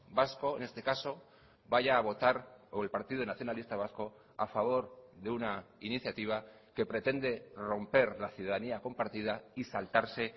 vasco en este caso vaya a votar o el partido nacionalista vasco a favor de una iniciativa que pretende romper la ciudadanía compartida y saltarse